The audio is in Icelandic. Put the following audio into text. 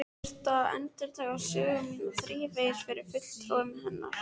Ég þurfti að endurtaka sögu mína þrívegis fyrir fulltrúum hennar.